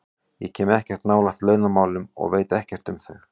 Ég kem ekkert nálægt launamálum og veit ekkert um þau.